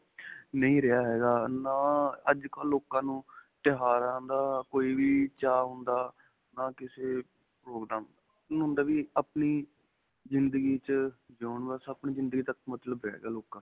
ਨਹੀਂ ਰਿਹਾ ਹੈਗਾ. ਨਾ ਅੱਜਕਲ੍ਹ ਲੋਕਾਂ ਨੂੰ ਤਿਉਹਾਰਾਂ ਦਾ ਕੋਈ ਵੀ ਚਾਅ ਹੁੰਦਾ ਨਾ ਕਿਸੇ ਉਨ੍ਹਾਂ ਨੂੰ ਹੁੰਦਾ ਵੀ ਆਪਣੀ ਜਿੰਦਗੀ ਵਿੱਚ ਜਿਊਣ, ਬਸ ਆਪਣੀ ਜਿੰਦਗੀ ਤੱਕ ਮਤਲਬ ਰਿਹ ਗਿਆ ਲੋਕਾਂ ਦਾ.